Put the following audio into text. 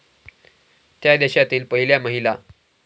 त्या देशातील पहिल्या महिला